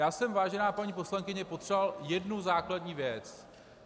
Já jsem, vážená paní poslankyně, potřeboval jednu základní věc.